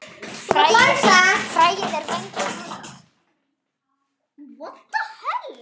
Fræið er vængjuð hnota.